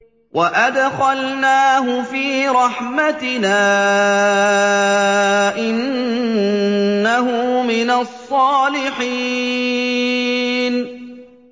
وَأَدْخَلْنَاهُ فِي رَحْمَتِنَا ۖ إِنَّهُ مِنَ الصَّالِحِينَ